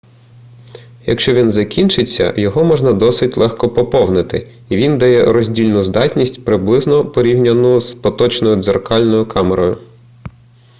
якщо він закінчиться його можна досить легко поповнити і він дає роздільну здатність приблизно порівнянну з поточною дзеркальною камерою